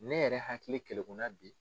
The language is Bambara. Ne yɛrɛ hakili kelekunna bi.